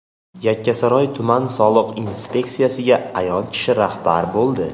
Yakkasaroy tuman soliq inspeksiyasiga ayol kishi rahbar bo‘ldi.